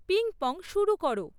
ping pong শুরু করো